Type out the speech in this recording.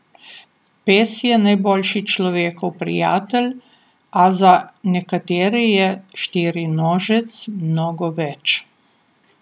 Pes je najboljši človekov prijatelj, a za nekatere je štirinožec mnogo več.